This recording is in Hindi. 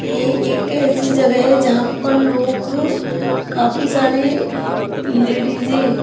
ये एक ऐसी जगह है जहां पर लोग काफी सारे लेडिज है।